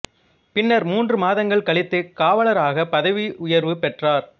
பின்னர் மூன்று மாதங்கள் கழித்து காவலராக பதவி உயர்வு பெற்றார்